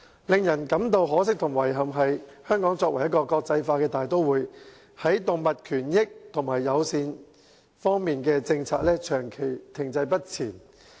令人感到可惜和遺憾的是，香港作為國際大都會，在動物權益和友善方面的政策，長期停滯不前。